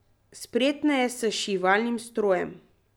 Spretna je s šivalnim strojem.